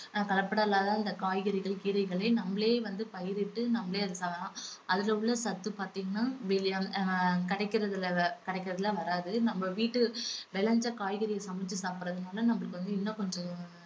கலப்படமில்லாத இந்த காய்கறிகள் கீரைகளை நம்மலே வந்து பயிரிட்டு நம்மளே அதை சாப்பிடலாம் அதுல உள்ள சத்து பாத்தீங்கன்னா வெளிய~ ஆஹ் கிடைக்கிறதுல வே~ கிடைக்கிறதுல வராது. நம்ம வீட்டு விளைஞ்ச காய்கறிய சமைச்சு சாப்பிடுறதுனால நம்மளுக்கு வந்து இன்னும் கொஞ்சம்